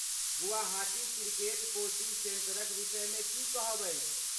Guwahati cricket coaching सेंटरक विषयमे की कहब अछि?